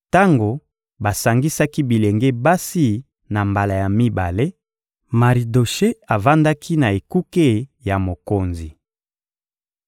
Tango basangisaki bilenge basi na mbala ya mibale, Maridoshe avandaki na ekuke ya mokonzi.